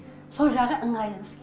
со жағы ыңғайлы бізге